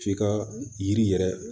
F'i ka yiri yɛrɛ